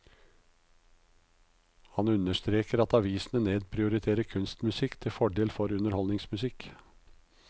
Han understreker at avisene nedprioriterer kunstmusikk til fordel for underholdningsmusikk.